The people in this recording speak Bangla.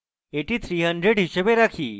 এটি 300 হিসাবে রাখি